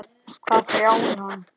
Hvað hrjáir hann?